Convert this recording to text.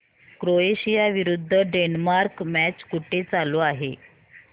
Croatia विरुद्ध Denmark match कुठे चालू आहे